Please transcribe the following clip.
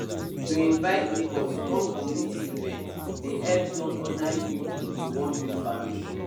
to invite neighbours come community event dey help turn ordinary people to one big family